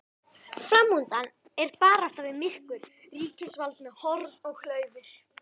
Framundan er barátta við myrkur, ríkisvald með horn og klaufir.